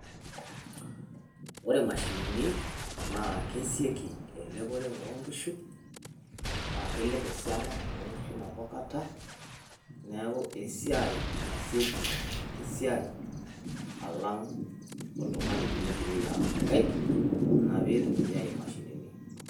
Ore imashinini naa kesioki eleopore oonkishu naa kelep esiana oonkishu nabo kata, neeku esiai naasieki alang' oltung'ani oitumia tenitumia imkaik, ina piitumiyai imashinini.